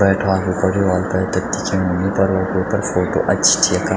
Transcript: बैठवान भी कर्युं वाल पैथर दिखेणु नि पर वो वेफर फोटो अच्छी च यखा।